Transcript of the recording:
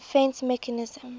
defence mechanism